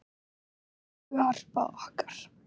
Elsku Harpa okkar.